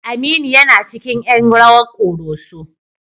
Aminu yana cikin ƴan rawar ƙoroso.